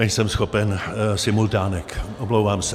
Nejsem schopen simultánek, omlouvám se.